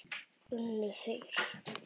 Unnu þeir?